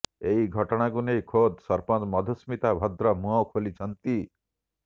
ଏହି ଘଟଣାକୁ ନେଇ ଖୋଦ୍ ସରପଞ୍ଚ ମଧୁସ୍ମିତା ଭଦ୍ର ମୁହଁ ଖୋଲିଛନ୍ତି